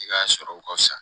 I ka sɔrɔ ka fisa